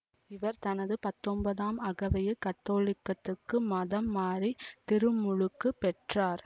இவர் தனது பத்தொன்பதாம் அகவையில் கத்தோலிக்கத்துக்கு மதம் மாறித் திருமுழுக்கு பெற்றார்